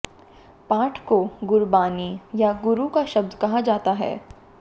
पाठ को गुरबानी या गुरु का शब्द कहा जाता है